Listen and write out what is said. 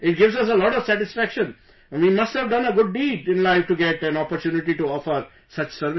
It gives us a lot of satisfaction...we must have done a good deed in life to get an opportunity to offer such service